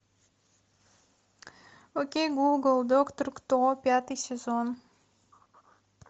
окей гугл доктор кто пятый сезон